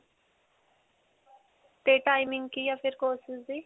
ਤੇ timing ਕਿ ਹੈ ਫਿਰ courses ਦੀ?